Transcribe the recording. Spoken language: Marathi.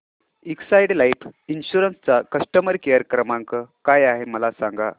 एक्साइड लाइफ इन्शुरंस चा कस्टमर केअर क्रमांक काय आहे मला सांगा